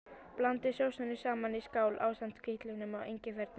Blandið sósunum saman í skál ásamt hvítlauknum og engifernum.